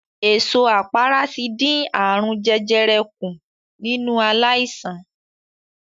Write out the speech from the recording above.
Èso àpárá ti dín ààrùn jẹjẹrẹ kùn nínú aláìsàn.